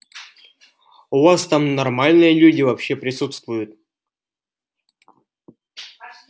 у вас там нормальные люди вообще присутствуют